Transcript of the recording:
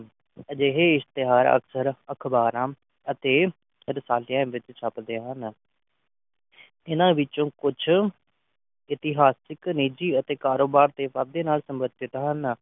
ਅਜਿਹੇ ਇਸ਼ਤਿਹਾਰ ਅਕਸਰ ਅਖਬਾਰਾਂ ਤੇ ਰਸਾਲਿਆਂ ਵਿਚ ਛਪਦੇ ਹਨ ਇਨ੍ਹਾਂ ਵਿਚ ਕੁਝ ਇਸਤਿਹਾਸਿਕ ਨਿਜੀ ਤੇ ਕਾਰੋਬਾਰ ਦੇ ਵਾਧੇ ਨਾਲ ਸੰਬੰਧਿਤ ਹਨ